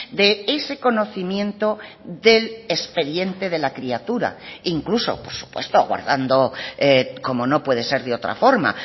de ese conocimiento del expediente de la criatura incluso por supuesto guardando como no puede ser de otra forma